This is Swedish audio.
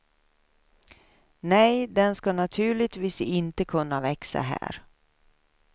Nej, den skall naturligtvis inte kunna växa här.